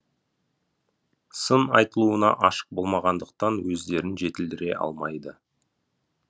сын айтылуына ашық болмағандықтан өздерін жетілдіре алмайды